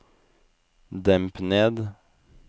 demp ned